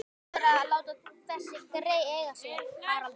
Þú ættir að láta þessi grey eiga sig, Haraldur